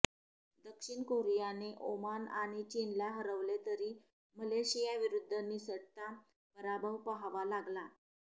दक्षिण कोरियाने ओमान आणि चीनला हरवले तरी मलेशियाविरुद्ध निसटता पराभव पाहावा लागला